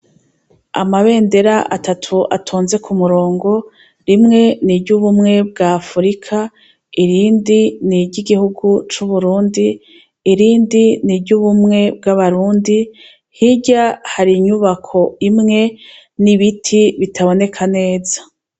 Amabender' atatu, atonze k'umurongo rimwe niry' ubumwe bw' Afrika, irindi niry'igihu cu Burundi, irindi niry' ubumwe bw' abarundi, hirya har' inyubak' imwe n' ibiti bitaboneka neza.